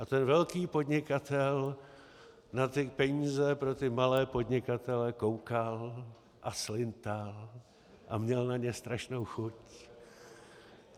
A ten velký podnikatel na ty peníze pro ty malé podnikatele koukal a slintal a měl na ně strašnou chuť.